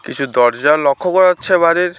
কিছু দরজা লক্ষ্য করা যাচ্ছে বাইরের।